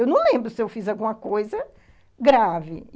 Eu não lembro se eu fiz alguma coisa... grave.